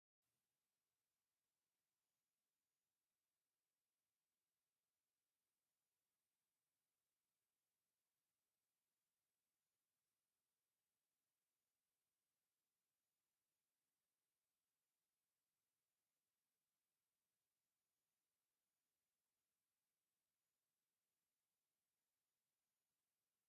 ጣና ብናይ ታንዃ መጓዓዚኡ ዝፍለጥ ከባቢ እዩ፡፡ ነዚ ዶ ይኾን ኣብ ታንዃ ኮይኑ ዝቐዝፍ መንእሰይ ዘለዎ ንኣፍሪካ ጐብናይዋ፣ ኢትዮጵያ ሓይቂ ጣና ዝብል ናይ መፋለጢ ፖስተር ተዳልዩ ንርኢ ዘለና?